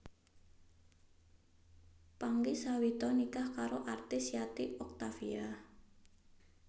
Pangky Suwito nikah karo artis Yati Octavia